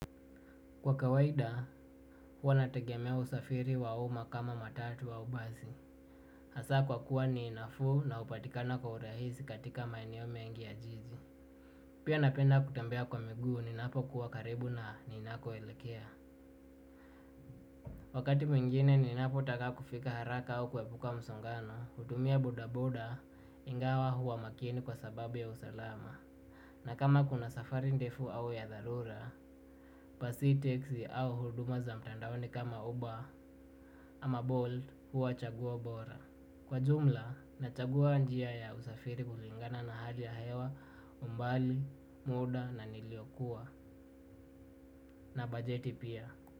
Kwa kawaida, huwa natagemea usafiri wauma kama matatu au bazi. Hasa kwa kuwa niinafu na upatikana kwa urahisi katika maeneo mengi ya jiji. Pia napenda kutembea kwa miguu ni napo kuwa karibu na ninako elekea. Wakati mwingine ni napo taka kufika haraka au kwebuka msongano, utumia buoaboda ingawa huwa makini kwa sababu ya usalama. Na kama kuna safari ndefu au ya dharura, pasi teksi au huduma za mtandawoni kama uba, ama bold huwa chagua bora. Kwa jumla na chagua njia ya usafiri kulingana na hali ya hewa umbali, muda na niliokua na bajeti pia.